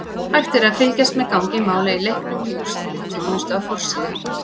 Hægt er að fylgjast með gangi mála í leiknum í úrslitaþjónustu á forsíðu.